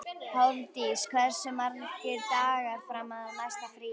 Hofdís, hversu margir dagar fram að næsta fríi?